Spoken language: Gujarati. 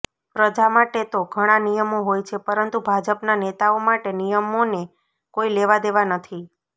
પ્રજા માટે તો ઘણા નિયમો હોય છે પરંતુ ભાજપના નેતાઓ માટે નિયમોને કોઈ લેવાદેવા નથી